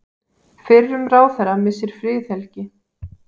Fyrrum ráðherra missir friðhelgi